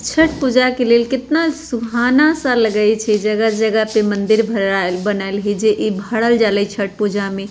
छठ पूजा के लेल कितना सुहाना सा लगाई छे जगह-जगह पे मंदिर भरायल बनयल है जे ई भरल जले ई छठ पूजा में।